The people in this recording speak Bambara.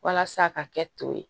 Walasa ka kɛ to ye